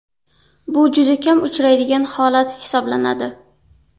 Bu juda kam uchraydigan holat hisoblanadi.